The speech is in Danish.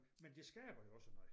Men det skaber jo også noget